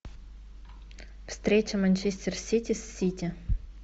встреча манчестер сити с сити